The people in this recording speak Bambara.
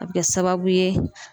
A be kɛ sababu ye